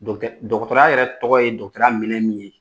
dɔgɔtɔrɔ yɛrɛ tɔgɔ ye ya minɛn min ye